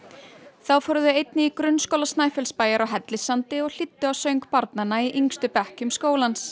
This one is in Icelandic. þá fóru þau einnig í Grunnskóla Snæfellsbæjar á Hellissandi og hlýddu á söng barnanna í yngstu bekkjum skólans